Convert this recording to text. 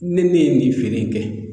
Ni ne ye nin feere kɛ